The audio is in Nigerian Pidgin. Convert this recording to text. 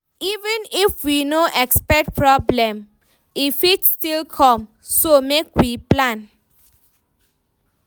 Even if we no expect problem, e fit still come, so make we plan.